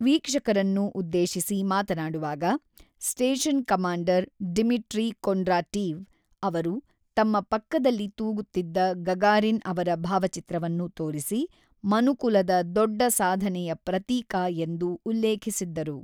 ವೀಕ್ಷಕರನ್ನು ಉದ್ದೇಶಿಸಿ ಮಾತನಾಡುವಾಗ, ಸ್ಟೇಷನ್ ಕಮಾಂಡರ್ ಡಿಮಿಟ್ರಿ ಕೊಂಡ್ರಾಟೀವ್ ಅವರು ತಮ್ಮ ಪಕ್ಕದಲ್ಲಿ ತೂಗುತ್ತಿದ್ದ ಗಗಾರಿನ್ ಅವರ ಭಾವಚಿತ್ರವನ್ನು ತೋರಿಸಿ 'ಮನುಕುಲದ ದೊಡ್ಡ ಸಾಧನೆ'ಯ ಪ್ರತೀಕ ಎಂದು ಉಲ್ಲೇಖಿಸಿದ್ದರು.